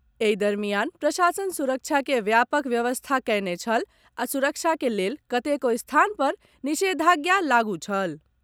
एहि दरमियान प्रशासन सुरक्षा के व्यापक व्यवस्था कयने छल आ सुरक्षा के लेल कतेको स्थान पर निषेधाज्ञा लागू छल।